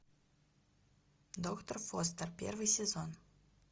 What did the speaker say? доктор фостер первый сезон